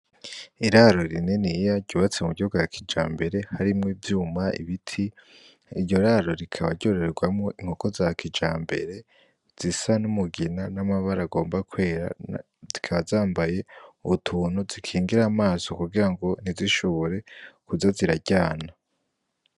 Iraro rininiya ryubatswe mu buryo bwa kijambere harimwo ibyuma, ibiti. Iryo raro rikaba ryororerwamwo inkoko za kijambere zisa n'umugina n'amabara agomba kwera, zikaba zambaye utuntu dukingira amaso kugira ntizishobore kuza ziraryana.